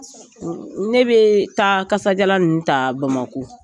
Ne bɛ taa tasa jalan ninnu ta Bamako.